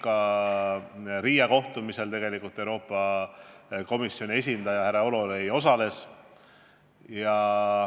Ka Riia kohtumisel osales Euroopa Komisjoni esindaja härra Hololei.